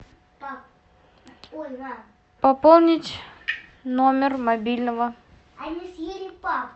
пополнить номер мобильного